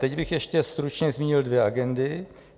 Teď bych ještě stručně zmínil dvě agendy.